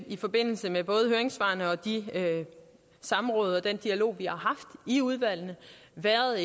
i forbindelse med både høringssvarene og de samråd og den dialog vi har haft i udvalgene været